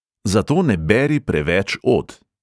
Zato ne beri preveč od!